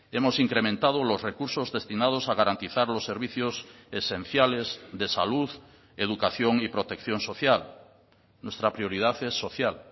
hemos incrementado los recursos destinados a garantizar los servicios esenciales de salud educación y protección social nuestra prioridad es social